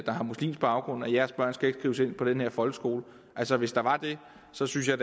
har muslimsk baggrund jeres børn skal ikke skrives ind på den her folkeskole altså hvis der var det så synes jeg